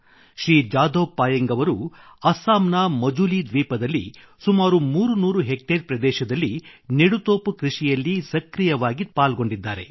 ಶ್ರೀ ಜಾದವ್ ಪಾಯೆಂಗ್ ಅವರು ಅಸ್ಸಾಂನ ಮಜೂಲಿ ದ್ವೀಪದಲ್ಲಿ ಸುಮಾರು 300 ಹೆಕ್ಟೇರ್ ಪ್ರದೇಶದಲ್ಲಿ ನೆಡುತೋಪು ಕೃಷಿಯಲ್ಲಿ ಸಕ್ರಿಯವಾಗಿ ಪಾಲ್ಗೊಂಡಿದ್ದಾರೆ